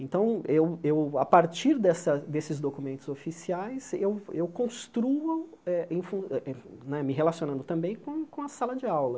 Então, eu eu a partir dessa desses documentos oficiais, eu eu construo eh em fun eh, me relacionando também com a sala de aula.